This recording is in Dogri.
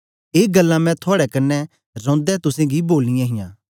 ए गल्लां मैं थुआड़े कन्ने रौंदै तुसेंगी बोलियां हां